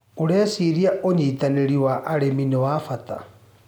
ũreciria ũnyitanĩrĩ wa arĩmi nĩ wa bata.